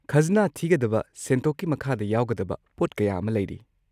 ꯈꯖꯅꯥ ꯊꯤꯒꯗꯕ ꯁꯦꯟꯊꯣꯛꯀꯤ ꯃꯈꯥꯗ ꯌꯥꯎꯒꯗꯕ ꯄꯣꯠ ꯀꯌꯥ ꯑꯃ ꯂꯩꯔꯤ꯫